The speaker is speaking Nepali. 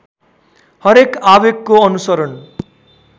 हरेक आवेगको अनुसरण